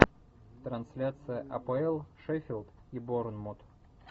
трансляция апл шеффилд и борнмут